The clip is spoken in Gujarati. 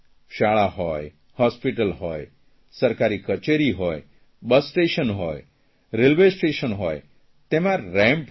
શાળા હોય બસ સ્ટેશન હોય રેલવે સ્ટેશન હોય તેમાં રેમ્પ હોય